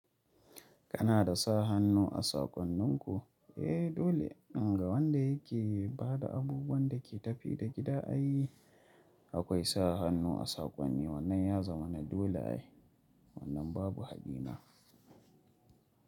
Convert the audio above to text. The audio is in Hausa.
Kana da sa hannu a sakonninku? Eh, dole. Ga wanda yake ba da abubuwan da ke tafi da gida ai, akwai sa hannu a sakon ni. Wannan ya zama na dole ai. Wannan babu hadina.